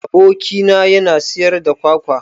Aboki na yana siyar da kwakwa